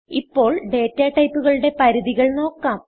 ഇപ്പോൾ ഡാറ്റ ടൈപ്പുകളുടെ പരിധികൾ നോക്കാം